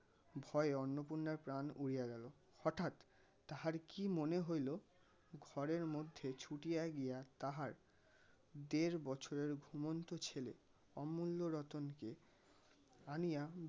ভয় অন্নপূর্ণার প্রান উরিয়া গেল হঠাৎ তাহার কি মনে হইলো ঘরের মধ্যে ছুটিয়া গিয়া তাহার দেড় বছরের ঘুমন্ত ছেলে অমুল্য রতন কে আনিয়া